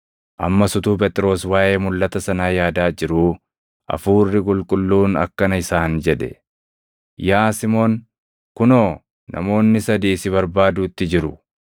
Ammas utuu Phexros waaʼee mulʼata sanaa yaadaa jiruu, Hafuurri Qulqulluun akkana isaan jedhe; “Yaa Simoon, kunoo namoonni sadii si barbaaduutti jiru.